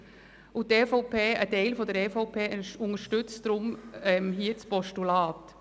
Ein Teil der EVP unterstützt deshalb das Postulat.